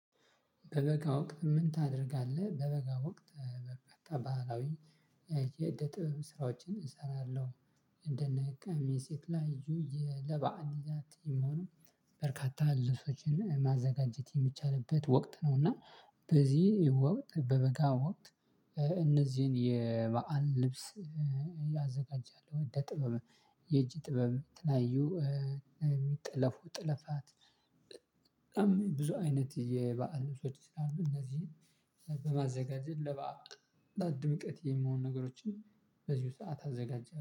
በበጋ ወቅት ምን ታደርጋለህ? በበጋ ወቅት በበጋ ባህላዊ የእደ ጥበብ ስራዎችን እሰራለሁ። እንደነ ቀሚስ የተለያዩ ይዘት እሚሆኑ በርካታ ልሶችን ማዘጋጀት የሚቻልበት ወቅት ነው። እና በዚህ ወቅት በበጋ ወቅት እነዚህን የበአል ልብስ ያዘጋጃል። እደ ጥበብ የእጅ ጥበብ የተለያዩ ጥለፉ ጥለፋት። በጣም ብዙ አይነት የበአል ልብሶች ስላሉ እነዚህን በማዘጋጀት ለባዕል ለድምቀት የሚሆኑ ነገሮችን በዚሁ ሰዓት አዘጋጃለሁ